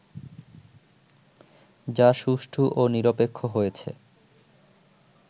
যা সুষ্ঠু ও নিরপেক্ষ হয়েছে